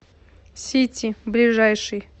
сити ближайший